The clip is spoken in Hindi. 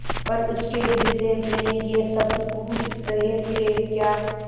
पर उसके हृदय में ये शब्द गूँज रहे थेक्या